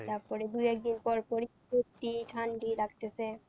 তারপর দুই একদিন পর পর ই লাগতেছে।